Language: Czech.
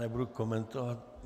Nebudu komentovat.